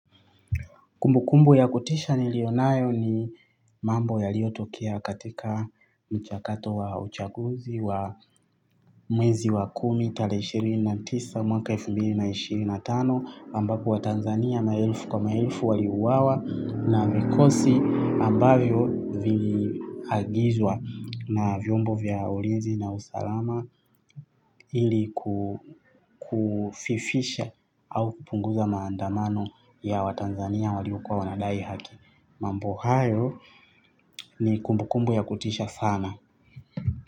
Kumbukumbu ya kutisha nilionayo ni mambo yaliotokea katika mchakato wa uchaguzi wa mwezi wa kumi tarehe ishirini na tisa mwaka elfu mbili na ishirini na tano ambapo watanzania maelfu kwa maelfu waliuwawa na vikosi ambavyo viliagizwa na vyombo vya ulinzi na usalama ili kufifisha au kupunguza maandamano ya watanzania waliokuwa wanadai haki. Mambo hayo ni kumbukumbu ya kutisha sana.